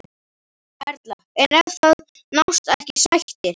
Erla: En ef að það nást ekki sættir?